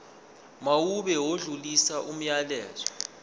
mawube odlulisa umyalezo